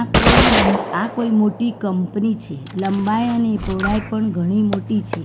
આ કોઈ આ કોઈ મોટી કંપની છે લંબાઈ અને પહોળાઈ પણ ઘણી મોટી છે.